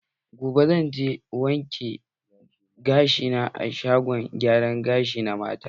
Gobe, zan je wanke gashi na a shagon gyara gashi na mata.